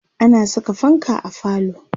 ana Saka fanka a falo